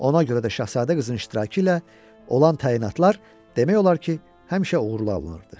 Ona görə də şahzadə qızın iştirakı ilə olan təyinatlar demək olar ki, həmişə uğurlu alınırdı.